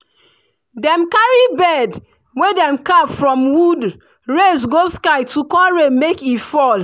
dem carry bird wey dem carve from wood raise go sky to call rain make e fall